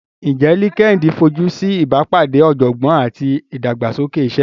Ǹjẹ́ LinkedIn fojú sí ìbápàdé ọ̀jọ̀gbọ́n àti ìdàgbàsókè iṣẹ́?